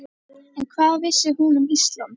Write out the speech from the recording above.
En hvað vissi hún um Ísland?